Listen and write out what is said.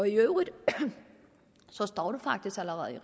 øvrigt står står det faktisk allerede i